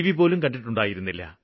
പോലും കണ്ടിട്ടുണ്ടായിരുന്നില്ല